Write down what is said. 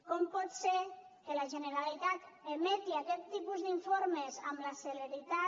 com pot ser que la generalitat emeti aquest tipus d’informes amb la celeritat